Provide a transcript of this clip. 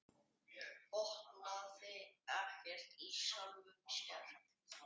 Botnaði ekkert í sjálfum sér.